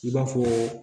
I b'a fɔ